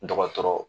Dɔgɔtɔrɔ